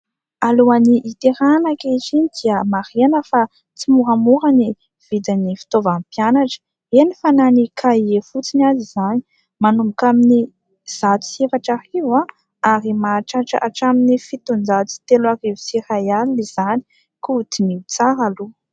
Alohan'ny hiterahana ankehitriny dia marihana fa tsy moramora ny vidin'ny fitaovan'ny mpianatra, eny fa na ny kahie fotsiny ary izany. Manomboka amin'ny zato sy efatra arivo ary mahatratra hatramin'ny fitonjato sy telo arivo sy iray alina izany ; ka diniho tsara aloha.